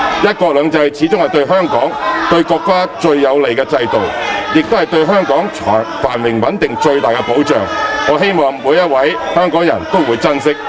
"一國兩制"始終是對香港、對國家最有利的制度，也是對香港繁榮穩定的最大保障，我希望每一位香港人都會珍惜。